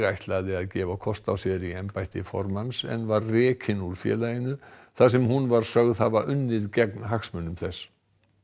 ætlaði að gefa kost á sér í embætti formanns en var rekin úr félaginu þar sem hún var sögð hafa unnið gegn hagsmunum þess